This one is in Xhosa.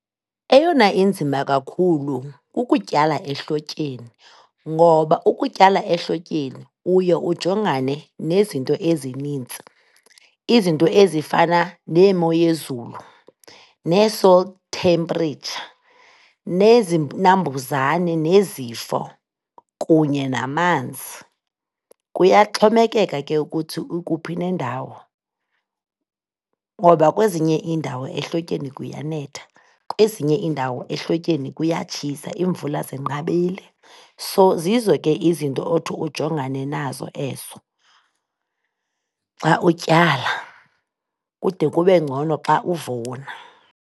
Eyona inzima kakhulu kukutyala ehlotyeni ngoba ukutyala ehlotyeni, uye ujongane nezinto ezinintsi. Izinto ezifana neemo yezulu nee-salt temperature, nezinambuzane nezifo kunye namanzi. Kuyaxhomekeka ke ukuthi ukuphi nendawo ngoba kwezinye iindawo ehlotyeni kuyanetha, kwezinye iindawo ehlotyeni kuyatshisa, iimvula zinqabile. So, zizo ke izinto othi ujongane nazo ezo xa utyala, kude kube ngcono xa uvuna.